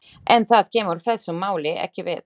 En það kemur þessu máli ekki við.